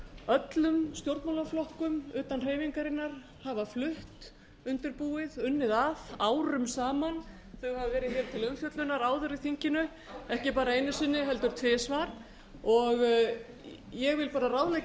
öllum stjórnmálaflokkum utan hreyfingarinnar hafa flutt undirbúið unnið að árum saman þau hafa verið hér til umfjöllunar áður í þinginu ekki bara einu sinni heldur tvisvar ég vil bara ráðleggja